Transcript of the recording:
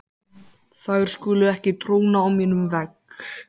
Þær skulu ekki tróna á mínum vegg.